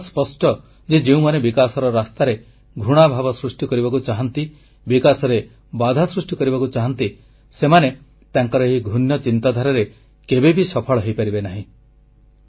ଏକଥା ସ୍ପଷ୍ଟ ଯେ ଯେଉଁମାନେ ବିକାଶର ରାସ୍ତାରେ ଘୃଣାଭାବ ସୃଷ୍ଟି କରିବାକୁ ଚାହାଁନ୍ତି ବିକାଶରେ ବାଧା ସୃଷ୍ଟି କରିବାକୁ ଚାହାଁନ୍ତି ସେମାନେ ତାଙ୍କର ଏହି ଘୃଣ୍ୟ ଚିନ୍ତାଧାରାରେ କେବେବି ସଫଳ ହୋଇପାରିବେ ନାହିଁ